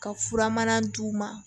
Ka furamana d'u ma